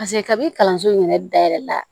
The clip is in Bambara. Paseke kabini kalanso in yɛrɛ dayɛlɛ la